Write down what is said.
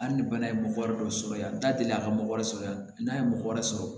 Hali ni bana ye mɔgɔ wɛrɛ dɔ sɔrɔ yan n da delila ka mɔgɔ wɛrɛ sɔrɔ yan n'a ye mɔgɔ wɛrɛ sɔrɔ